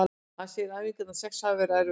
Hann segir að æfingarnar sex hafi verið erfiðar.